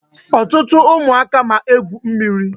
Ọtụtụ ụmụaka ma egwu mmiri.